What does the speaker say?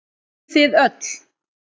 Hey þið öll.